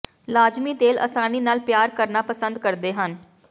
ਲਾਜ਼ਮੀ ਤੇਲ ਆਸਾਨੀ ਨਾਲ ਪਿਆਰ ਕਰਨਾ ਪਸੰਦ ਕਰਦੇ ਹਨ